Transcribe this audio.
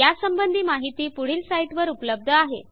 यासंबंधी माहिती पुढील साईटवर उपलब्ध आहे